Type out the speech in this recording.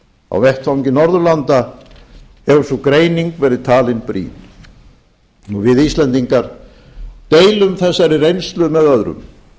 á vettvangi norðurlanda hefur sú greining verið talin brýn við íslendingar deilum þessari reynslu með öðrum